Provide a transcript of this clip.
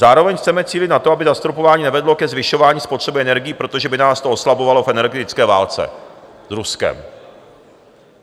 Zároveň chceme cílit na to, aby zastropování nevedlo ke zvyšování spotřeby energií, protože by nás to oslabovalo v energetické válce s Ruskem.